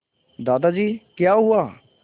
दादाजी क्या हुआ